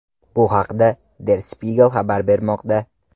Bu haqda Der Spiegel xabar bermoqda .